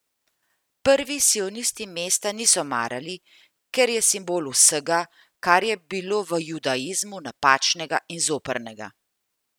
Prvi sionisti mesta niso marali, ker je simbol vsega, kar je bilo v judaizmu napačnega in zoprnega.